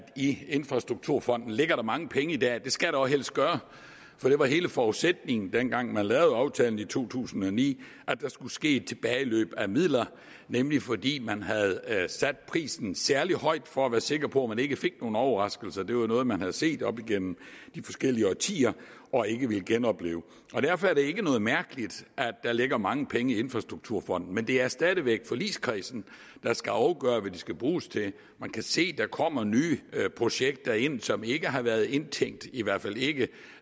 i infrastrukturfonden ligger mange penge i dag det skal der jo helst gøre det var hele forudsætningen dengang man lavede aftalen i to tusind og ni at der skulle ske et tilbageløb af midler nemlig fordi man havde sat prisen særlig højt for at være sikker på man ikke fik nogen overraskelser det var noget man havde set op gennem de forskellige årtier og ikke ville genopleve derfor er det ikke mærkeligt at der ligger mange penge i infrastrukturfonden men det er stadig væk forligskredsen der skal afgøre hvad de skal bruges til man kan se der kommer nye projekter ind som ikke har været indtænkt i hvert fald ikke